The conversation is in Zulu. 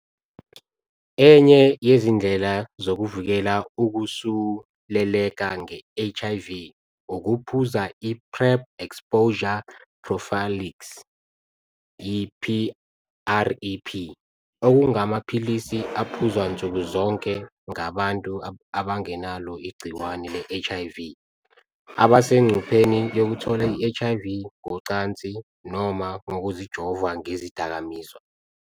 Enye yezindlela zokuvikela ukusuleleka nge-HIV ukuphuza i-Pre-Exposure Prophylaxis, i-PrEP, okungamaphilisi aphuzwa nsukuzonke ngabantu abangenalo igciwane le-HIV abasengcupheni yokuthola i-HIV, ngocansi noma ngokuzijova ngezidakamizwa.